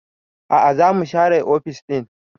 A'a za mu share ofis ɗin